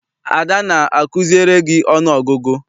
Adanna akuziere gị ọnụ ọgụgụ?